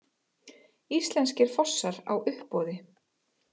Íslenskir fossar á uppboði